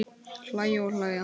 Hlæja og hlæja.